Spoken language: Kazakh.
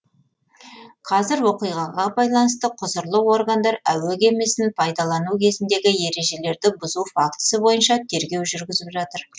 қазір оқиғаға байланысты құзырлы органдар әуе кемесін пайдалану кезіндегі ережелерді бұзу фактісі бойынша тергеу жүргізіп жатыр